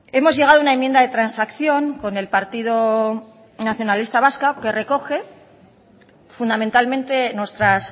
hemos llegado a una enmienda de transacción con el partido nacionalista vasco que recoge fundamentalmente nuestras